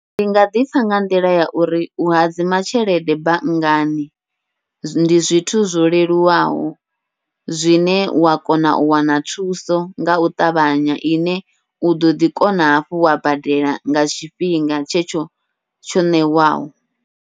Ndi nga ḓipfha nga nḓila ya uri u hadzima tshelede banngani ndi zwithu zwo leluwaho, zwine wa kona u wana thuso ngau ṱavhanya ine u ḓoḓi kona hafhu wa badela nga tshifhinga tshetsho tsho ṋewaho.